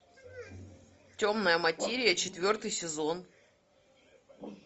темная материя четвертый сезон